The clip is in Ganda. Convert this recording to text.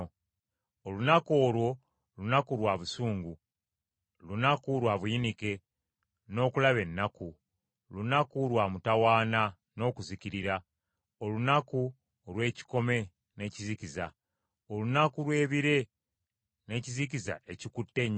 Olunaku olwo lunaku lwa busungu, lunaku lwa buyinike n’okulaba ennaku, lunaku lwa mutawaana n’okuzikirira, olunaku olw’ekikome n’ekizikiza, olunaku lw’ebire n’ekizikiza ekikutte ennyo;